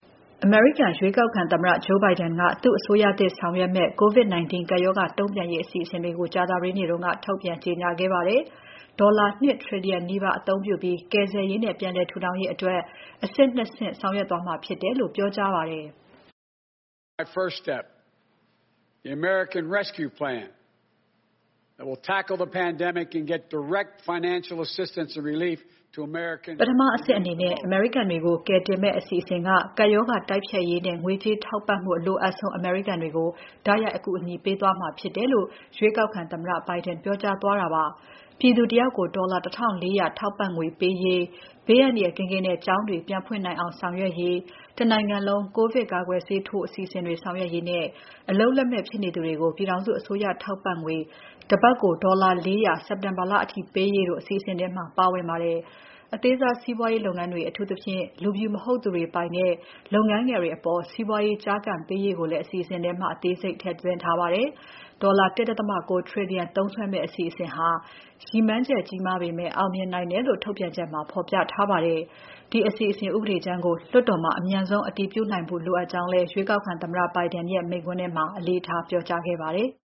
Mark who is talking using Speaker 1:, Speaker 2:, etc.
Speaker 1: အမေရိကန်ရွေးကောက်ခံသမ္မတ Joe Biden က သူ့အစိုးရသစ်ဆောင်ရွက်မယ့် COVID-19 ကပ်ရောဂါ တုံ့ပြန်ရေးအစီအစဉ်တွေကို ကြာသပတေးနေ့က ထုတ်ပြန်ကြေညာခဲ့ပါတယ်။ ဒေါ်လာ ၂ ထရီလီယံနီးပါး အသုံးပြုပြီး ကယ်ဆယ်ရေးနဲ့ ပြန်လည်ထူထောင်ရေးအတွက် အဆင့် ၂ ဆင့်နဲ့ ဆောင်ရွက်သွားမှာဖြစ်တယ်လို့ ပြောကြားပါတယ်။ "ပ
Speaker 2: ထအဆင့်အနေနဲ့ အမေရိကန်တ
Speaker 1: ွေကို ကယ်တင်မယ့်အစီအစဉ်က ကပ်ရောဂါ တိုက်ဖျက်ရေးနဲ့ ငွေကြေးထောက်ပံ့မှု အလိုအပ်ဆုံး အမေရိကန်တွေကို တိုက်ရိုက်အကူအညီပေးသွားမှာဖြစ်ပါတယ်။" လို့ ရွေးကောက်ခံသမ္မတ Biden ပြောကြားသွားတာဖြစ်ပါတယ်။ ပြည်သူတယောက်ကို ဒေါ်လာ ၁,၄၀၀ ထပ်တိုးပြီးတော့ ထောက်ပံ့ငွေပေးရေး၊ ဘေးအန္တရာယ်ကင်းကင်းနဲ့ ကျောင်းတွေပြန်ဖွင့်နိုင်အောင်ဆောင်ရွက်ရေး၊ တနိုင်ငံလုံး ကိုဗစ်ကာကွယ်ဆေးထိုး အစီအစဉ်ဆောင်ရွက်ရေးနဲ့ အလုပ်လက်မဲ့ဖြစ်နေသူတွေကို ပြည်ထောင်စုအစိုးရထောက်ပံ့ငွေ တပတ် ဒေါ်လာ ၄၀၀ စက်တင်ဘာလအထိ ပေးရေးတို့ အစီအစဉ်ထဲမှာ ပါဝင်ပါတယ်။ အသေးစား စီးပွာရေးလုပ်ငန်းတွေ၊ အထူးသဖြင့် လူဖြူမဟုတ်သူတွေ ပိုင်တဲ့ လုပ်ငန်းငယ်တွေအပေါ် စီးပွားရေး ကျားကန်ပေးရေးကိုလည်း အစီအစဉ်ထဲမှာ အသေးစိတ် ထည့်သွင်းထားပါတယ်။ ဒေါ်လာ ၁.၉ ထရီလီယံ သုံးစွဲမယ့်အစီအစဉ်ဟာ ရည်မှန်းချက်ကြီးမားပေမဲ့ အောင်မြင်နိုင်တယ်လို့ ထုတ်ပြန်ချက်ထဲမှာ ဖော်ပြထားပါတယ်။ ဒီအစီအစဉ် ဥပဒေကြမ်းကို လွှတ်တော်မှာ အမြန်ဆုံး အတည်ပြုနိုင်ဖို့ လိုအပ်ကြောင်းလည်း ရွေးကောက်ခံသမ္မတ Biden ရဲ့ မိန့်ခွန်းထဲမှာ အလေးထား ပြောကြားခဲ့ပါတယ်။